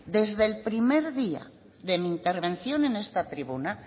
desde el primer día de mi intervención en esta tribuna